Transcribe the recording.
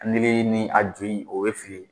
Nili ni a ju in o bɛ fili.